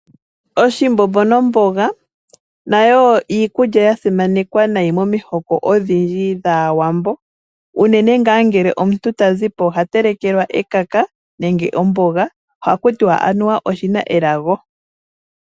Oshimbombo nomboga, nayo iikulya yasimanekwa nayi momihoko odhindji dhaawambo. Unene nga ngele omuntu tazipo oha telekelwa ekaka, nenge omboga. Ohaku tiwa anuwa oshina elago.